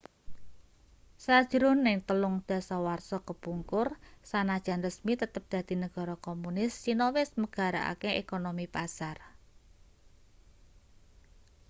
sajrone telung dasawarsa kepungkur sanajan resmi tetep dadi negara komunis cina wis megarake ekonomi pasar